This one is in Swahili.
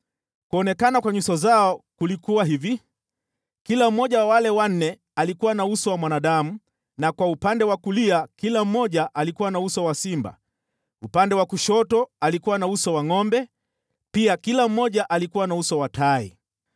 Kuonekana kwa nyuso zao kulikuwa hivi: Kila mmoja wa wale wanne alikuwa na uso wa mwanadamu na kwa upande wa kulia kila mmoja alikuwa na uso wa simba, upande wa kushoto alikuwa na uso wa ngʼombe pia kila mmoja alikuwa na uso wa tai.